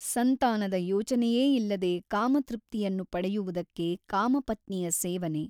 ಸಂತಾನದ ಯೋಚನೆಯೇ ಇಲ್ಲದೆ ಕಾಮತೃಪ್ತಿಯನ್ನು ಪಡೆಯುವುದಕ್ಕೆ ಕಾಮಪತ್ನಿಯ ಸೇವನೆ.